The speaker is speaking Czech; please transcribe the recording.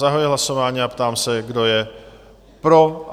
Zahajuji hlasování a ptám se, kdo je pro?